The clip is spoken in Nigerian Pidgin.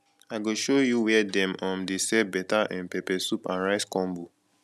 i go show you where dem um dey sell better um pepper soup and rice combo